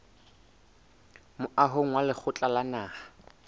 moahong wa lekgotla la naha